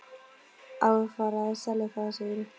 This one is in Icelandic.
Á að fara að selja það, segirðu?